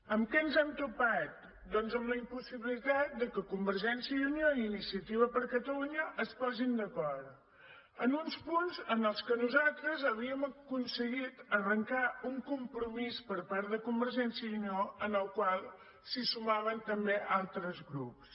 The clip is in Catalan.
amb què ens hem topat doncs amb la impossibilitat que convergència i unió i iniciativa per catalunya es posin d’acord en uns punts en els quals nosaltres havíem aconseguit arrencar un compromís per part de convergència i unió al qual se sumaven també altres grups